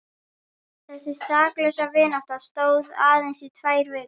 Þessi saklausa vinátta stóð aðeins í tvær vikur.